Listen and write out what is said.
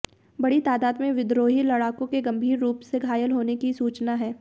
बड़ी तादाद में विद्रोही लड़ाकों के गंभीर रूप से घायल होने की सूचना है